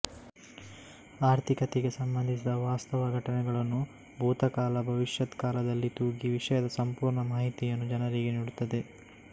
ಆರ್ಥಿಕತೆಗೆ ಸಂಬಂಧಿಸಿದ ವಾಸ್ತವ ಘಟನೆಗಳನ್ನು ಭೂತಕಾಲ ಭವಿಷ್ಯತ್ ಕಾಲದಲ್ಲಿ ತೂಗಿ ವಿಷಯದ ಸಂಪೂರ್ಣ ಮಾಹಿತಿಯನ್ನು ಜನರಿಗೆ ನೀಡುತ್ತದೆ